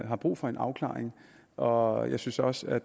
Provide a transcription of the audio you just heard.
har brug for en afklaring og jeg synes også at